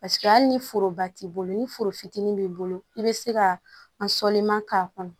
Paseke hali ni foroba t'i bolo ni foro fitinin b'i bolo i bɛ se ka an sɔliman k'a kɔnɔ